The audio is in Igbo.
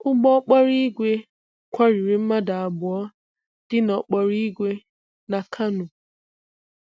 Ụgbọ okporo ìgwè kwọriri mmadụ abụọ dina n' okporo ìgwè na Kano.